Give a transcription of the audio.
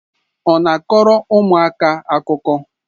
Ọ na-akọrọ ụmụaka akụkọ?